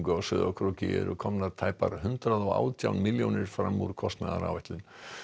á Sauðárkróki eru komnar tæpar hundrað og átján millljónir fram úr kostnaðaráætlun